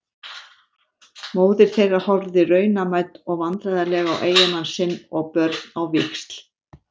Móðir þeirra horfði raunamædd og vandræðaleg á eiginmann sinn og börn á víxl.